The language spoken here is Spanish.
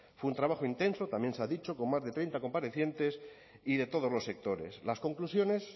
fue un trabajo intenso también se ha dicho con más de treinta comparecientes y de todos los sectores las conclusiones